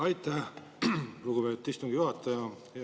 Aitäh, lugupeetud istungi juhataja!